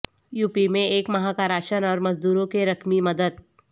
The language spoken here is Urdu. یوپی میں ایک ماہ کا راشن اور مزدوروں کی رقمی مدد